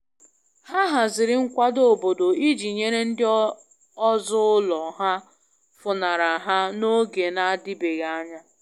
Ha haziri nkwado obodo iji nyere ndị ọzọ ụlọ ha funara ha n'oge na adịbeghị anya.